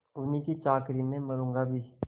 उन्हीं की चाकरी में मरुँगा भी